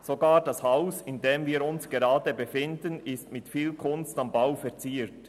Sogar das Haus, in welchem wir uns gerade befinden, ist mit viel «Kunst am Bau» verziert.